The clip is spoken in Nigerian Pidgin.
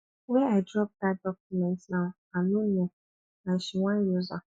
where i drop dat document now i no know and she wan use am